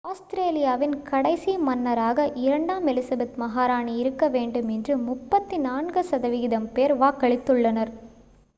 ஆஸ்திரேலியாவின் கடைசி மன்னராக இரண்டாம் எலிசபெத் மகாராணி இருக்க வேண்டும் என்று 34 சதவீதம் பேர் வாக்களித்து உள்ளனர்